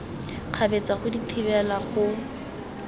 kgabetsa go di thibela go